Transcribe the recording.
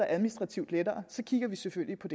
administrativt lettere kigger vi selvfølgelig på